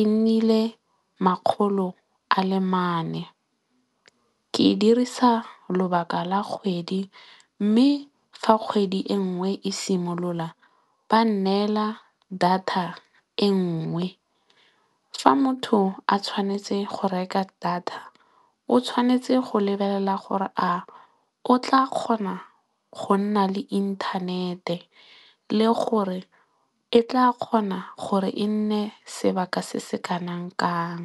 e nnile makgolonne ke e dirisa lobaka la kgwedi mme, fa kgwedi e nngwe e simolola ba neela data e nngwe. Fa motho a tshwanetse go reka data o tshwanetse go lebelela gore a o tla kgona go nna le inthanete le gore e tla kgona gore e nne sebaka se se kanang kang.